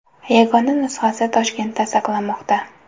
Yagona nusxasi Toshkentda saqlanmoqda.